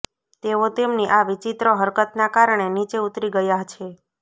તેઓ તેમની આ વિચિત્ર હરકતના કારણે નીચે ઉતરી ગયા છે